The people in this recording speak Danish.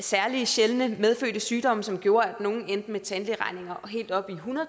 særlig sjældne medfølgende sygdomme som gjorde at nogle endte med tandlægeregninger helt oppe